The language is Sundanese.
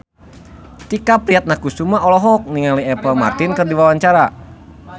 Tike Priatnakusuma olohok ningali Apple Martin keur diwawancara